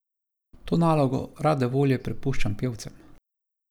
To nalogo rade volje prepuščamo pevcem.